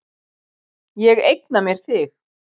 Ég eigna mér þig.